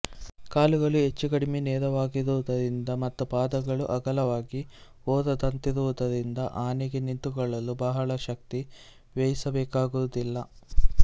ಕಾಲುಗಳು ಹೆಚ್ಚೂಕಡಿಮೆ ನೇರವಾಗಿರುವುದರಿಂದ ಮತ್ತು ಪಾದಗಳು ಅಗಲವಾಗಿ ಮೊರದಂತಿರುವುದರಿಂದ ಆನೆಗೆ ನಿಂತುಕೊಳ್ಳಲು ಬಹಳ ಶಕ್ತಿ ವ್ಯಯಿಸಬೇಕಾಗುವುದಿಲ್ಲ